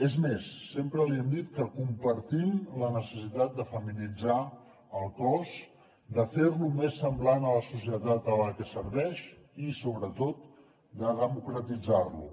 és més sempre li hem dit que compartim la necessitat de feminitzar el cos de fer lo més semblant a la societat a la que serveix i sobretot de democratitzar lo